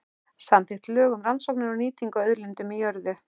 Samþykkt lög um rannsóknir og nýtingu á auðlindum í jörðu.